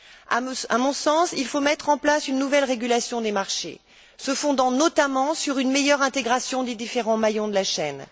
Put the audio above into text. À mon sens, il faut mettre en place une nouvelle régulation des marchés, se fondant notamment sur une meilleure intégration des différents maillons de la chaîne.